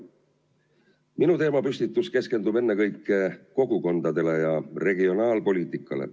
Minu teemapüstitus keskendub ennekõike kogukondadele ja regionaalpoliitikale.